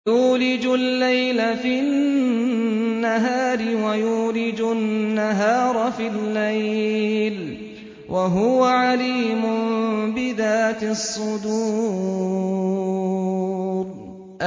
يُولِجُ اللَّيْلَ فِي النَّهَارِ وَيُولِجُ النَّهَارَ فِي اللَّيْلِ ۚ وَهُوَ عَلِيمٌ بِذَاتِ الصُّدُورِ